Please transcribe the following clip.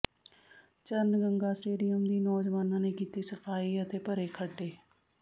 ਚਰਨ ਗੰਗਾ ਸਟੇਡੀਅਮ ਦੀ ਨੌਜਵਾਨਾਂ ਨੇ ਕੀਤੀ ਸਫ਼ਾਈ ਅਤੇ ਭਰੇ ਖੱਡੇ